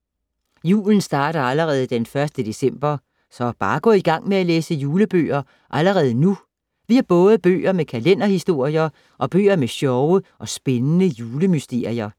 Julen starter allerede d. 1. december. Så bare gå i gang med at læse julebøger allerede nu. Vi har både bøger med kalenderhistorier og bøger med sjove og spændende julemysterier.